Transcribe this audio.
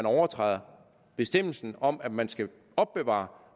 overtræde bestemmelsen om at man skal opbevare